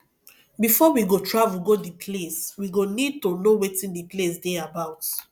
before we go travel go di place we go need to know wetin di place dey about